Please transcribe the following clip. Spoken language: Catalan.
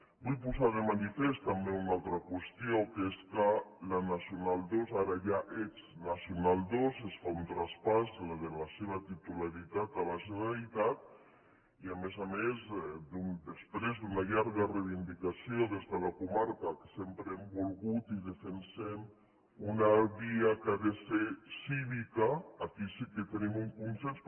vull posar de manifest també una altra qüestió que és que la nacional ii ara ja exnacional ii es fa un traspàs de la seva titularitat a la generalitat i a més a més després d’una llarga reivindicació des de la comarca que sempre hem volgut i defensem una via que ha de ser cívica aquí sí que tenim un consens